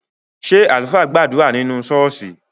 Ṣé àlùfáà gbàdúrà nínú ṣọ́ọ́ṣì?